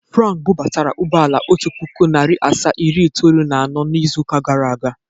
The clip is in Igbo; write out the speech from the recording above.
Frank bụbatara ụgbọala, otu pụkụ, narị asaa, iri itoolu na anọ n'ịzụ ụka gara aga.